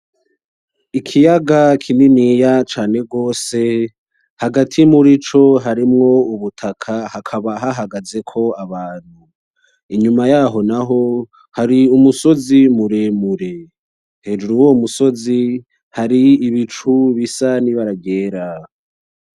Ikiyaga kininiya cane rwose hagati murico hari mwo ubutaka hakaba hahagazeko abantu inyuma yaho naho hari umusozi muremure hejuru yuwo musozi haribicu bisa n’ibara ryera.